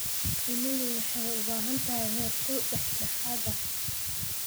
Shinnidu waxay u baahan tahay heerkul dhexdhexaad ah.